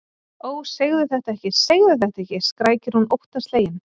Ó, segðu þetta ekki, segðu þetta ekki, skrækir hún óttaslegin.